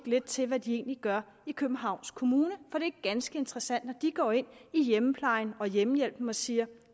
lidt til hvad de egentlig gør i københavns kommune for det er ganske interessant at de går ind i hjemmeplejen og hjemmehjælpen og siger